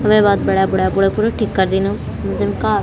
वे बाद बणै बुणे पुड़े पुरु ठिक करदिन जन कार ।